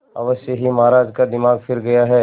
अवश्य ही महाराज का दिमाग फिर गया है